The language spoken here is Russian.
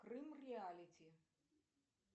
крым реалити